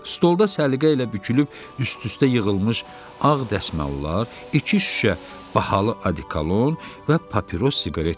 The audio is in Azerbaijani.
Stolda səliqə ilə bükülüb, üst-üstə yığılmış ağ dəsmallar, iki şüşə bahalı adikalon və papiros siqaret vardı.